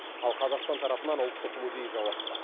ал қазақстан тарапынан ұлттық музей жауапты